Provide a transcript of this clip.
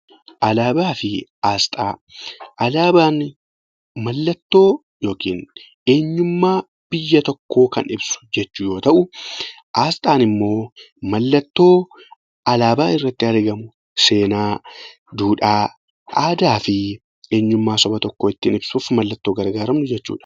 Alaabaa fi asxaa, alaabaan mallattoo yookiin eenyummaa biyya tokkoo Kan ibsu jechuu yoo tahu, asxaan immoo mallattoo alaabaa irratti argamu seenaa, duudhaa, aadaa fi eenyummaa Saba tokkoo ittiin ibsuuf mallattoo gargaaramnu jechuudha.